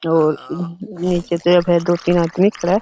और दो-तीन आदमी खड़ा हैं।